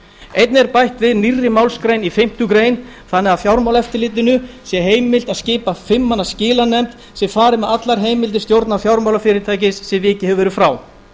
einnig er bætt við nýrri málsgrein í fimmtu grein þannig að fjármálaeftirlitinu sé heimilt að skipa fimm manna skilanefnd sem fari með allar heimildir stjórnar fjármálafyrirtækis sem vikið hefur verið frá